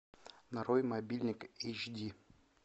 нарой мобильник эйч ди